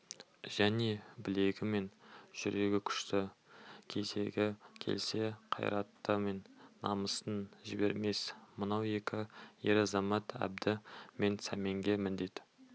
және білегі мен жүрегі күшті кезегі келсе қайраты мен намысын жібермес мынау екі ер-азамат әбді мен сәменге міндет